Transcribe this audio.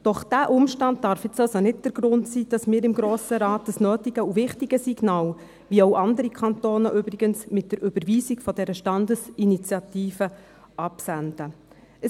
Doch dieser Umstand darf nun nicht der Grund sein, dass wir seitens des Grossen Rat das nötige und wichtige Signal mit der Überweisung dieser Standesinitiative nicht aussenden, wie dies übrigens andere Kantone ausgesendet haben.